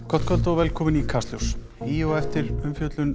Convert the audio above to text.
gott kvöld og velkomin í Kastljós í og eftir umfjöllun